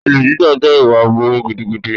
Olè jíjà jẹ́ ìwà aburú gidigidi.